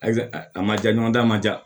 Ayi a ma ja ɲɔgɔn da a ma ja